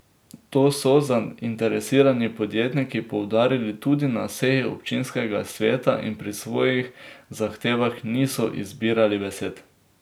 To so zainteresirani podjetniki poudarili tudi na seji občinskega sveta in pri svojih zahtevah niso izbirali besed.